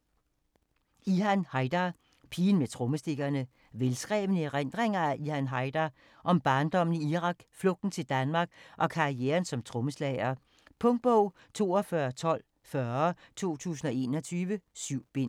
Haydar, Ihan: Pigen med trommestikkerne Velskrevne erindringer af Ihan Haydar. Om barndommen i Irak, flugten til Danmark og karrieren som trommeslager. Punktbog 421240 2021. 7 bind.